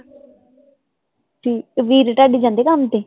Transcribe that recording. ਠੀਕ, ਵੀਰ ਤੁਹਾਡੇ ਜਾਂਦੇ ਕੰਮ ਤੇ?